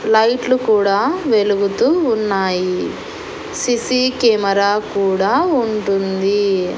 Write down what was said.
లైట్లు కూడా వెలుగుతూ ఉన్నాయి సిసి కెమెరా కూడా ఉంటుంది.